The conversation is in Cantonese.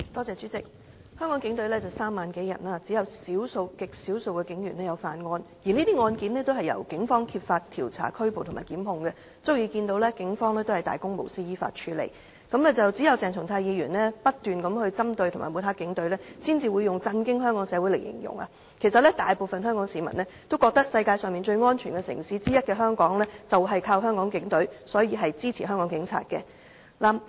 主席，香港警隊有3萬多人，只有極少數警員犯案，而這些案件均由警方揭發、調查、作出拘捕及檢控，足證警方能大公無私地依法處理，只有鄭松泰議員不斷針對及抹黑警隊，才會用"震驚香港社會"來形容，其實大部分香港市民都覺得香港能成為世界上其中一個最安全的城市，就是全靠香港警隊，所以他們支持香港警方。